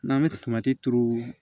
N'an bɛ turu